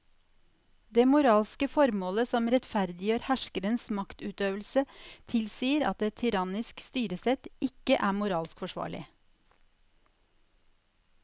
Det moralske formålet som rettferdiggjør herskerens maktutøvelse tilsier at et tyrannisk styresett ikke er moralsk forsvarlig.